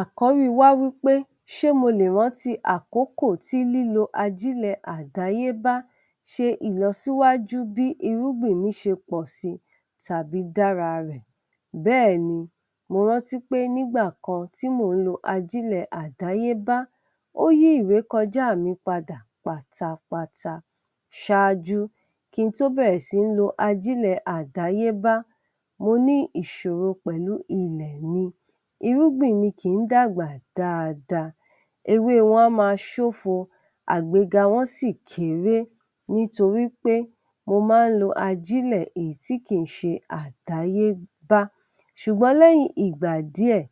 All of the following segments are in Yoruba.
Àkọ̀rí wa wípé ṣé mo lè ránti àkókò ti lílo ajílẹ̀ àdáyébá ṣe ìlọsíwájú bí irúgbìn mi ṣe pọ̀ sí tàbí dára rẹ̀. Bẹ́ẹ̀ni, mo rántí pé nígbà kan tí mo ń lo ajílẹ̀ àdáyébá ó yí ìrékọjá mi padà pátápátá. ṣáájú, kín tó bẹ̀èrẹ̀ sí n lo ajílẹ̀ àdáyébá, mo ní ìṣòro pẹ̀lú ilẹ̀ mi irúgbìn mi kì í dàgbà dáada, ewé wọn á ma ṣófo àgbéga wọn sì kéré nítorípé mo ma ń lo ajílẹ̀ èyí tí kì í se àdáyébá. Ṣùgbọ́n lẹ́yìn ìgbà díẹ̀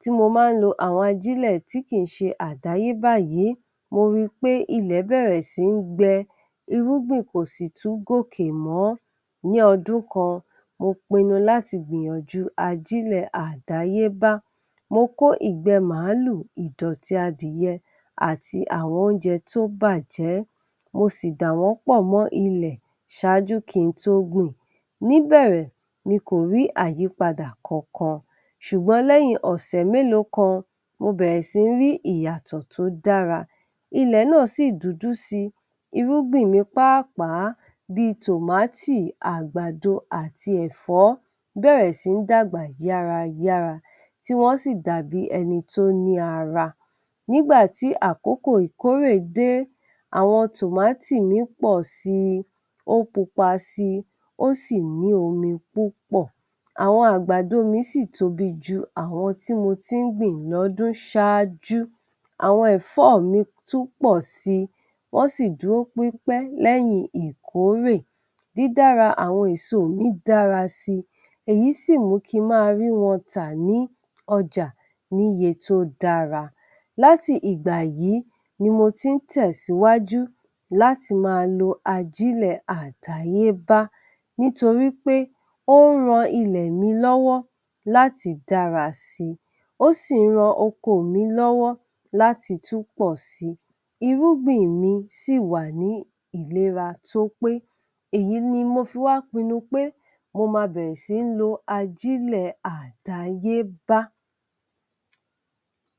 tí mo ma ń lo àwọn ajílẹ̀ tí kì í ṣe àdáyébá yìí, mo ri pé ilẹ̀ bẹ̀rẹ̀ sí ń gbẹ irúgbìn kò sì tún gòkè mọ̀ó. Ní ọdún kan, mo pinnu láti gbìyànjúu ajílẹ̀ àdáyébá, mo kò ìgbé màálù, ìdọ̀tí adìẹ àti àwọn oúnjẹ tó bàjẹ́, mo sì dà wọn pọ̀ mó ilẹ́ ṣáájú kin tó gbìn. Ní’bẹ̀rẹ̀, mi kò rí àyípadà kankan ṣùgbọ́n lẹ́yìn ọ̀sẹ̀ mélòó kan, mo bẹ̀rẹ̀ sí ń rí ìyàtọ̀ tó dara, ilẹ̀ náà sì dúdú si, irúgbìn mi páápàá bíi tòmátì àgbàdo àti ẹ̀fọ́ bẹ́rẹ̀ sí ń dàgbà yárayára ti wọ́n sì dàbí ẹni tó ní ara. Nígbàtí àkókò ìkórè dé, àwọn tòmátì mi posi, ó pupa si, ó sì ní omi púpọ̀. Àwọn àgbàdo mi sì tóbi ju àwọn tí mo ti ń gbìn lọ́dún ṣaájú, àwọn ẹ̀fọ́ mi tún pọ̀ si wọn sí dúró pípẹ̀ lẹ́yìn ìkórè dídára àwọn èso mi dára si, èyí sì mú kín ma rí wọn tà ní ọjà níye to dára. Láti ìgbà yìí ni mo tí ń tẹ̀síwájú láti má a lo ajílẹ̀ àdáyébá nítorípé ó ń ran ilẹ̀ mi lọ́wọ́ láti dára si ó sì ń ran oko mi lọ́wọ́ láti tún pọ́ si irúgbìn mi sì wà ní ìlera tó pé èyí ni mo fi wá pinnu pé mo ma bẹ̀rẹ̀ sí ń lo ajílẹ̀ àdáyébá.